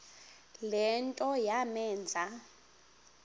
le nto yamenza